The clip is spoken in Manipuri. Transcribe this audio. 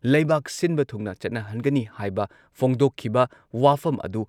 ꯂꯩꯕꯥꯛ ꯁꯤꯟꯕ ꯊꯨꯡꯅ ꯆꯠꯅꯍꯟꯒꯅꯤ ꯍꯥꯏꯕ ꯐꯣꯡꯗꯣꯛꯈꯤꯕ ꯋꯥꯐꯝ ꯑꯗꯨ